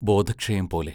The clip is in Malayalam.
ബോധക്ഷയം പോലെ.